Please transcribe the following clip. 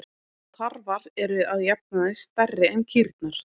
Tarfar eru að jafnaði stærri en kýrnar.